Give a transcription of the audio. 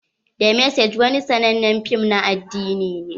The message wani sannanen fim na addini ne.